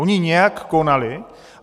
Oni nějak konali,